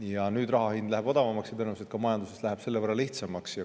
Ja nüüd läheb raha hind odavamaks ning tõenäoliselt ka majanduses läheb selle võrra lihtsamaks.